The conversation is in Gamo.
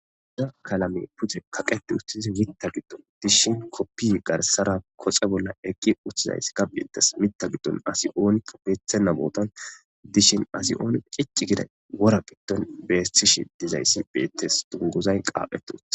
Dunguza qalamey Pude kaqet utid Mitha gidon dishn kopiyey garsara koxe bolla eqi utidaysa betes. MItha gidon as onika betonta botan dishn asi cici gida wora gidon betishe dizays betes , dunguzay qaphet utid..